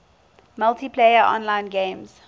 multiplayer online games